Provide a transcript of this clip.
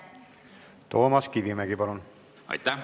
Toomas Kivimägi, palun!